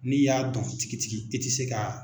N'i y'a dɔn tigitigi e tɛ se ka